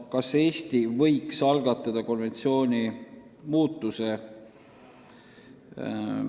Kas Eesti võiks algatada konventsiooni muutuse?